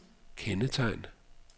kendetegn